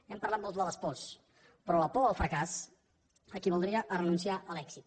hem parlat molt de les pors però la por al fracàs equivaldria a renunciar a l’èxit